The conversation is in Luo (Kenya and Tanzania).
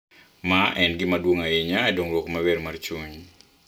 Ma en gima duong’ ahinya e dongruok maber mar chuny.